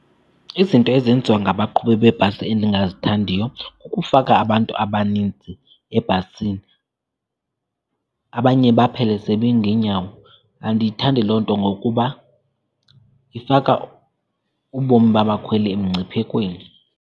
Izinto ezenziwa ngabaqhubi bebhasi endingazithandiyo kukufaka abantu abaninzi ebhasini, abanye baphele sebeme ngeenyawo. Andiyithandi loo nto ngokuba ifaka ubomi babakhweli emngciphekweni.